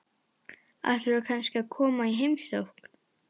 Ætlarðu kannski að koma í heimsókn?